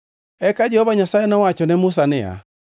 Eka Jehova Nyasaye nowacho ne Musa niya,